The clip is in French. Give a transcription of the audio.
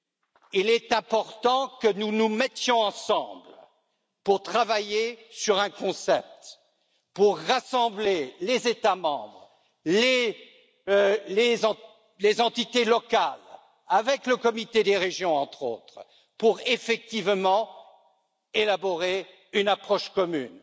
crois qu'il est important que nous nous mettions ensemble pour travailler sur un concept, pour rassembler les États membres, les entités locales avec le Comité des régions, entre autres, pour effectivement élaborer une approche commune.